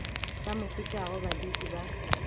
ba mo fetago baditi ba